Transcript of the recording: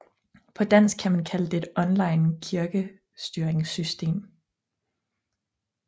På dansk kan man kalde det et online kirkestyringssystem